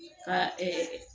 Ka